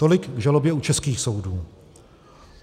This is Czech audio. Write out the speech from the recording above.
Tolik k žalobě u českých soudů.